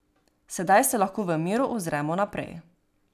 Sedaj se lahko v miru ozremo naprej.